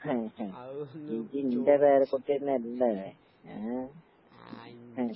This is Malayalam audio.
ഇയ്യെന്റെ പേരക്കുട്ടിയെന്നല്ലേ? ഏഹ് ഹും.